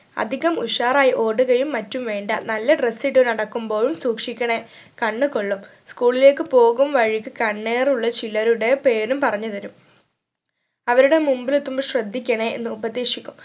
അധികം ഉഷാറായി ഓടുകയും മറ്റും വേണ്ട നല്ല dress ഇട്ട് നടക്കുമ്പോഴും സൂക്ഷിക്കണേ കണ്ണു കൊള്ളും school ലേക്ക് പോവും വഴിയിക്ക് കണ്ണേറുള്ള ചിലരുടെ പേരും പറഞ്ഞു തരും അവരുടെ മുമ്പിൽ എത്തുമ്പോൾ ശ്രദ്ധിക്കണേ എന്ന് ഉപദേശിക്കും